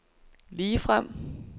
ligefrem